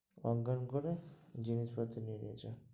অজ্ঞান করে জিনিস পত্র নিয়ে নিয়েছে,